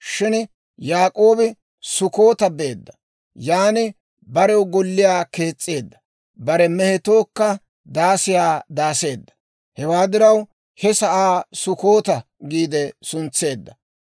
Shin Yaak'oobi Sukkoota beedda; yan barew golliyaa kees's'eedda; bare mehetookka daasiyaa daaseedda. Hewaa diraw he sa'aa Sukkoota giide suntseedda.